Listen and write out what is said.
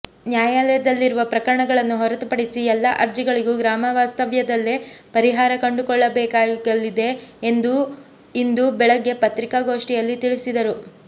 ನ್ಯಾಯಾಲಯದಲ್ಲಿರುವ ಪ್ರಕರಣಗಳನ್ನು ಹೊರತುಪಡಿಸಿ ಎಲ್ಲ ಅರ್ಜಿಗಳಿಗೂ ಗ್ರಾಮವಾಸ್ತವ್ಯದಲ್ಲೇ ಪರಿಹಾರ ಕಂಡುಕೊಳ್ಳಲಾಗಿದೆ ಎಂದು ಇಂದು ಬೆಳಗ್ಗೆ ಪತ್ರಿಕಾಗೋಷ್ಠಿಯಲ್ಲಿ ತಿಳಿಸಿದರು